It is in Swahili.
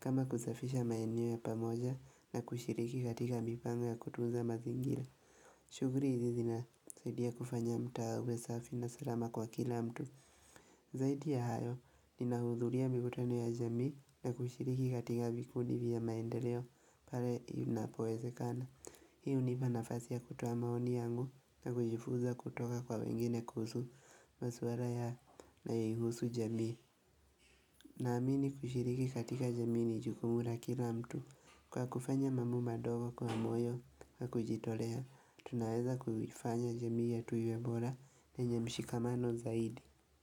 Kama kusafisha maeneo ya pamoja na kushiriki katika mipango ya kutunza mazingira shughuli hizi zinasaidia kufanya mtaa uwe safi na salama kwa kila mtu Zaidi ya hayo ninahudhuria mikutano ya jamii na kushiriki katika vikundi vya maendeleo pale inapowezekana Hii hunipa nafasi ya kutoa maoni yangu na kujifunza kutoka kwa wengine kuhusu maswala yanayohusu jamii Naamini kushiriki katika jamii ni jukumu la kila mtu Kwa kufanya mambo madogo kwa moyo na kujitolea Tunaweza kuifanya jamii yetu iwe bora yenye mshikamano zaidi.